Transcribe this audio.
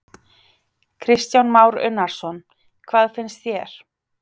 Kristján Már Unnarsson: Hvað finnst þér?